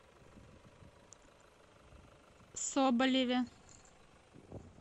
соболеве